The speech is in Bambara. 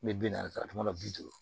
N bɛ bi naani ta kuma dɔ bi duuru